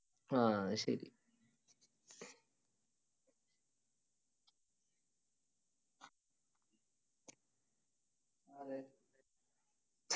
ആ ശരി